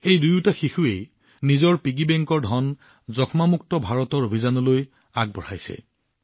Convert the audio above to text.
এই দুয়োটা শিশুৱেও নিজৰ মানি বেংকৰ ধনেৰে টিবি মুক্ত ভাৰতৰ অভিযানত লিপ্ত হৈছে